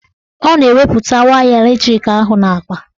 Ọ na-eweputa waya latrik ahụ n'akpa